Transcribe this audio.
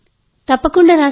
అవును తప్పకుండా